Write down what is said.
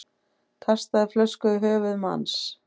Kastaði flösku í höfuð manns